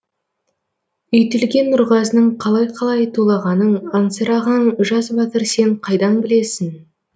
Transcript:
үйтілген нұрғазының қалай қалай тулағанын аңсыраған жас батыр сен қайдан білесің